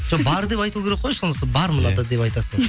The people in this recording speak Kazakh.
жоқ бар деп айту керек қой сонысы бар мынада деп айтасың